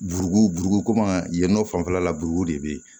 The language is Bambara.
Buru buru komi yen nɔ fanfɛla la buruko de bɛ yen